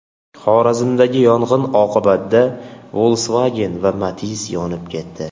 Xorazmdagi yong‘in oqibatida Volkswagen va Matiz yonib ketdi.